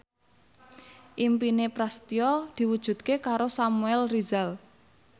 impine Prasetyo diwujudke karo Samuel Rizal